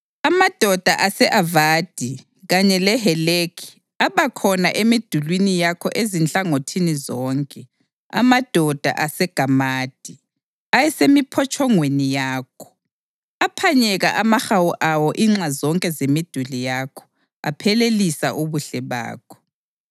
Amadoda ase-Avadi kanye leHelekhi abakhona emidulini yakho ezinhlangothini zonke; amadoda aseGamadi ayesemiphotshongweni yakho. Aphanyeka amahawu awo inxa zonke zemiduli yakho; aphelelisa ubuhle bakho.